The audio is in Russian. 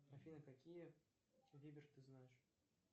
афина какие ты знаешь